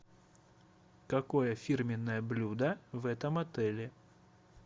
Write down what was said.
какое фирменное блюдо в этом отеле